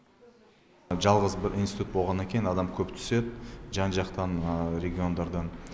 жалғыз бір институт болғаннан кейін адам көп түседі жан жақтан региондардан